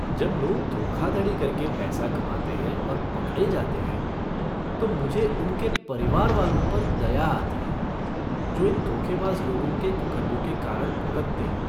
जब लोग धोखाधड़ी करके पैसा कमाते हैं और पकड़े जाते हैं, तो मुझे उनके परिवार वालों पर दया आती है जो इन धोखेबाज़ लोगों के कुकर्मों के कारण भुगतते हैं।